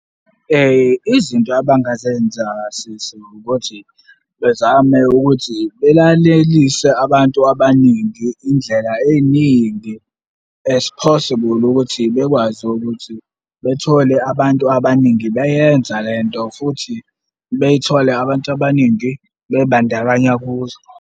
Izinto abangazenza kasisi ukuthi bezame ukuthi belalelise abantu abaningi indlela ey'ningi as possible ukuthi bekwazi ukuthi bethole abantu abaningi beyenza lento futhi bethole abantu abaningi bey'bandakanya kuzo.